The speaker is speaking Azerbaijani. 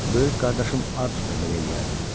Böyük qardaşım Artur da belə eləyərdi.